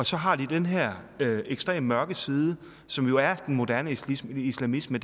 så har den her ekstremt mørke side som jo er den moderne islamisme islamisme